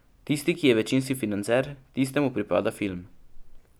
Tisti, ki je večinski financer, tistemu pripada film.